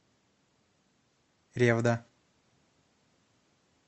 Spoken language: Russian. ревда